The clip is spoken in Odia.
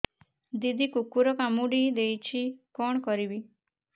ଦିଦି କୁକୁର କାମୁଡି ଦେଇଛି କଣ କରିବି